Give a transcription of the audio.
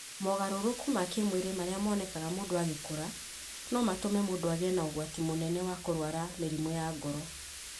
Mogarũrũku ma kĩĩmwĩrĩ marĩa monekaga mũndũ agĩkũra, no matũme mũndũ agĩe na ũgwati mũnene wa kũrũara mĩrimũ ya ngoro.